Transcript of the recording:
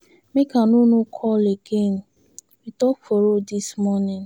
Make I no no call again, we talk for road dis morning.